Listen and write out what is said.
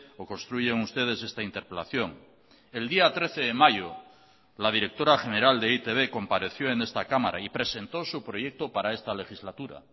o construyen ustedes esta interpelación el día trece de mayo la directora general de e i te be compareció en esta cámara y presentó su proyecto para esta legislatura